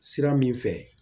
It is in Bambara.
Sira min fɛ